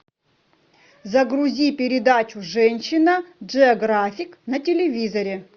загрузи передачу женщина джеографик на телевизоре